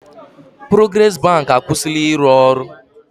Porogres bank e akwụsịla ịrụ ọrụ.